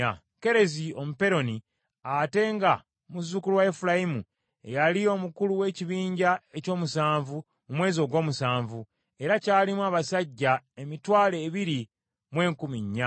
Kerezi Omuperoni, ate nga muzzukulu wa Efulayimu ye yali omukulu ow’ekibinja eky’omusanvu mu mwezi ogw’omusanvu, era kyalimu abasajja emitwalo ebiri mu enkumi nnya.